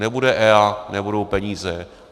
Nebude EIA, nebudou peníze.